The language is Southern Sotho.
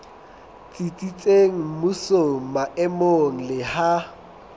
tsitsitseng mmusong maemong le ha